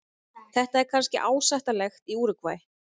Þetta er kannski ásættanlegt í Úrúgvæ.